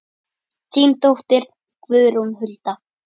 Þín dóttir Guðrún Hulda.